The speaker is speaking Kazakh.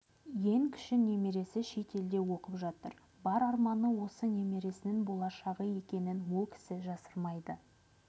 ең кіші немересі шет елде оқып жатыр бар арманы осы немересінің болашағы екенін ол кісі жасырмайды